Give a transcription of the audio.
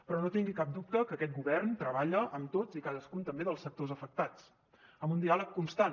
però no tingui cap dubte que aquest govern treballa amb tots i cadascun també dels sectors afectats amb un diàleg constant